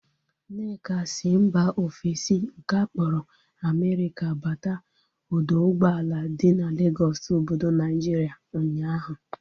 Nneka si mba ofesi nke akpọrọ Amerika bata ọdọ ụgbọala dị n'Legọsụ obodo Naijiria ụnyaahụ